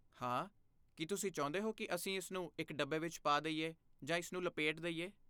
ਹਾਂ, ਕੀ ਤੁਸੀਂ ਚਾਹੁੰਦੇ ਹੋ ਕਿ ਅਸੀਂ ਇਸਨੂੰ ਇੱਕ ਡੱਬੇ ਵਿੱਚ ਪਾ ਦੇਈਏ ਜਾਂ ਇਸਨੂੰ ਲਪੇਟ ਦੇਈਏ?